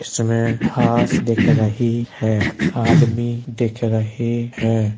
इसमें घास दिख रही है आदमी दिख रहे हैं।